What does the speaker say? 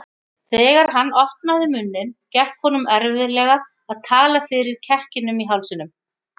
Þegar hann opnaði munninn gekk honum erfiðlega að tala fyrir kekkinum í hálsinum.